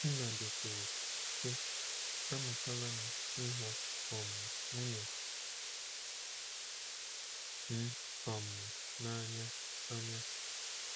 Nnadi kwuru, sị: “Amụtala m ịhụ um nwunye m um n’anya anya.”